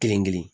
Kelen kelen